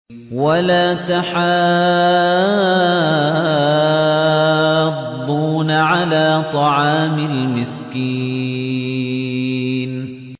وَلَا تَحَاضُّونَ عَلَىٰ طَعَامِ الْمِسْكِينِ